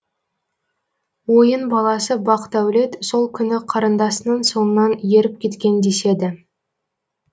ойын баласы бақдәулет сол күні қарындасының соңынан еріп кеткен деседі